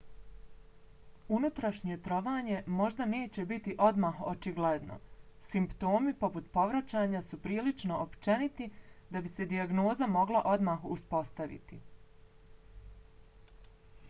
unutrašnje trovanje možda neće biti odmah očigledno. simptomi poput povraćanja su prilično općeniti da bi se dijagnoza mogla odmah uspostaviti